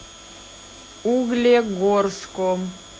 углегорском